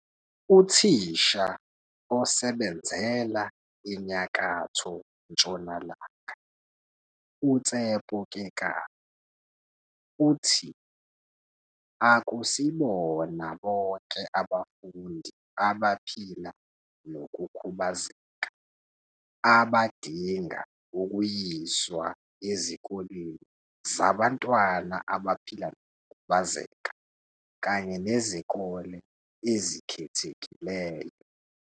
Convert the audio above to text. Uthisha osebenzela eNyakatho Ntshonalanga uTshepo Kekana uthi, "Akusibona bonke abafundi abaphila nokukhubazeka abadinga ukuyiswa ezikoleni zabantwana abaphila nokukhubazeka kanye nezikole ezikhethekileyo.